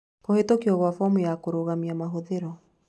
Kũhĩtũkwo kwa Homu ya Kũrũgamia Mahũthĩro: